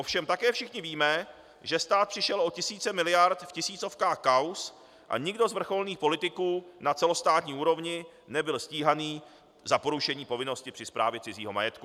Ovšem také všichni víme, že stát přišel o tisíce miliard v tisícovkách kauz a nikdo z vrcholných politiků na celostátní úrovni nebyl stíhaný za porušení povinnosti při správě cizího majetku.